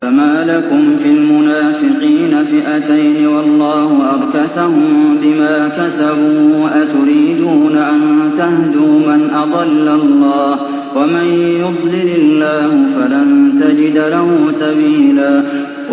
۞ فَمَا لَكُمْ فِي الْمُنَافِقِينَ فِئَتَيْنِ وَاللَّهُ أَرْكَسَهُم بِمَا كَسَبُوا ۚ أَتُرِيدُونَ أَن تَهْدُوا مَنْ أَضَلَّ اللَّهُ ۖ وَمَن يُضْلِلِ اللَّهُ فَلَن تَجِدَ لَهُ سَبِيلًا